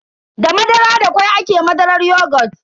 Da madara da kwai ake madarar yogut.